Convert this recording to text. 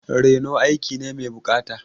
Reno aiki ne mai buƙata.